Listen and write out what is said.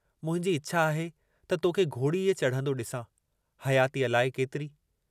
मुंहिंजी इच्छा आहे त तोखे घोड़ीअ चढ़ंदो डिसां, हयाती अलाए केतिरी।